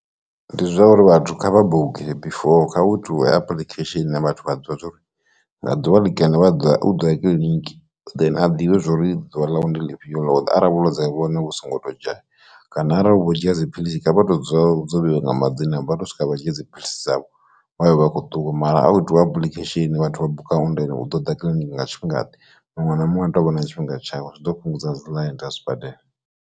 Ndi zwa uri vhathu kha vha bhuke before kha vhu tuwe application vhathu vha ḓivha zwori nga ḓuvha ḽi kene vha ḓoya u ḓoya kiḽiniki then a ḓivhe zwori ḓuvha lawe ndi ḽifhio ḽo ḓa ara vhulwadze vhune vhu songo to dzhaya, kana arali vhu u dzhia dziphilisi kha vha to dzula dzo vheiwe nga madzina vha to swika vha dzhia dziphilisi dzavho wayo ovha akho ṱuwa mara a u itiwa apulikhesheni vhathu vha buka and then u ḓo ḓa kiḽiniki nga tshifhinga ḓe muṅwe na muṅwe a tou vha na tshifhinga tshawe zwi ḓo fhungudza dziḽaini dza zwi badela.